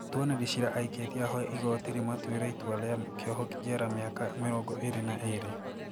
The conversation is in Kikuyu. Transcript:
Mũtuanĩri cira aikĩtie ahoya igoti rĩmaatuire itua rĩa kĩoho njera mĩaka mĩrongo ĩĩrĩ na ĩĩrĩ